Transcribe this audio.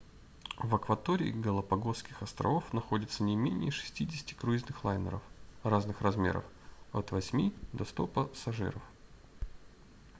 в акватории галапагосских островов находится не менее 60 круизных лайнеров разных размеров от 8 до 100 пассажиров